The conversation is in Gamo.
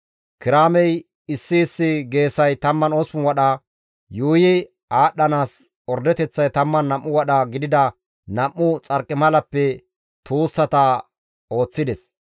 Kiraamey issi issi geesay 18 wadha, yuuyi aadhdhanaas ordeteththay 12 wadha gidida nam7u xarqimala tuussata ooththides.